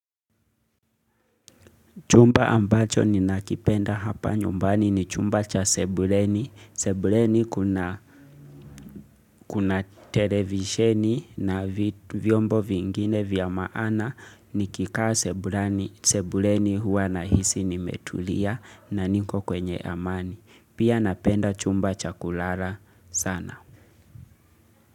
Chumba ambacho ninakipenda hapa nyumbani ni chumba cha sebuleni. Sebuleni kuna kuna televisheni na vyombo vingine vya maana nikikaa sebulani sebuleni huwa nahisi nimetulia na niko kwenye amani. Pia napenda chumba cha kulala sana.